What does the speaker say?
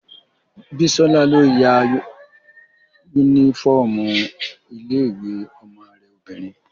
Bíọ́lá ló ya yúnífọ́ọ̀mù ilé-ìwé ọmọ rẹ obìnrin